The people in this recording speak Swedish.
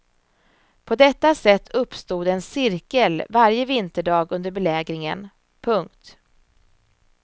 På detta sätt uppstod en cirkel varje vinterdag under belägringen. punkt